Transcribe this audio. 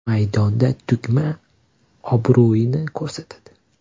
Maydonda tug‘ma obro‘yini ko‘rsatadi.